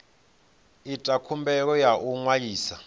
ita khumbelo ya u ṅwalisa